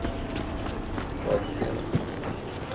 Vadstena